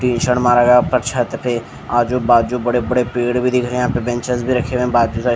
tin shed मारा गया उपर छत पे आजू-बाजू बड़े-बड़े पेड़ भी दिख रहे हैं यहाँ पे बेंचस भी रखे हुए हैं बाजू सा--